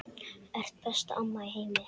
Ert besta amma í heimi.